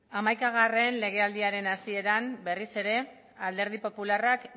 hogeita bat legealdiaren hasieran berriz ere alderdi popularrak